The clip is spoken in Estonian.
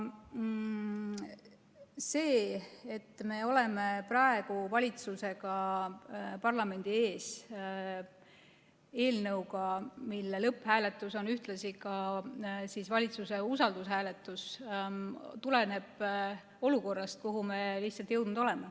See, et me oleme praegu valitsusega parlamendi ees eelnõuga, mille lõpphääletus on ühtlasi valitsuse usaldushääletus, tuleneb olukorrast, kuhu me oleme jõudnud.